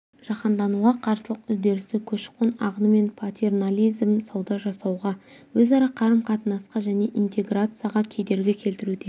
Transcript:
жаһандануға қарсылық үдерісі көші-қон ағыны мен патернализм сауда жасауға өзара қарым-қатынасқа және интеграцияға кедергі келтіруде